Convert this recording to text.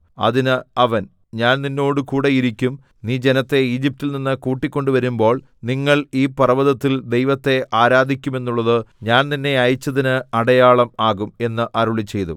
അതിന് അവൻ ഞാൻ നിന്നോടുകൂടെ ഇരിക്കും നീ ജനത്തെ ഈജിപ്റ്റിൽ നിന്ന് കൂട്ടിക്കൊണ്ട് വരുമ്പോൾ നിങ്ങൾ ഈ പർവ്വതത്തിൽ ദൈവത്തെ ആരാധിക്കുമെന്നുള്ളത് ഞാൻ നിന്നെ അയച്ചതിന് അടയാളം ആകും എന്ന് അരുളിച്ചെയ്തു